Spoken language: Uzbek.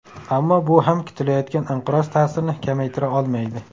Ammo bu ham kutilayotgan inqiroz ta’sirini kamaytira olmaydi.